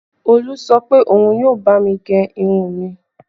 Olú sọ pé òun yóò bá mi gẹ irun mi